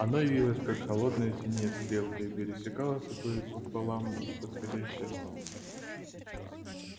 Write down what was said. оно явилось как холодная синяя стрелка и пересекло собой пополам восходящее солнце